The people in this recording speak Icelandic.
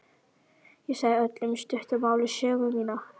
Ég sagði Öllu í stuttu máli sögu mína.